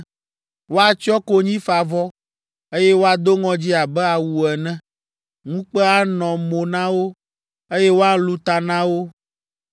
Woatsyɔ konyifavɔ, eye woado ŋɔdzi abe awu ene, ŋukpe anɔ mo na wo, eye woalũ ta na wo.